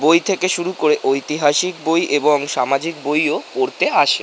বই থেকে শুরু করে ঐতিহাসিক বই এবং সামাজিক বই ও পড়তে আসে।